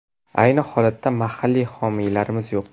Ayni holatda mahalliy homiylarimiz yo‘q.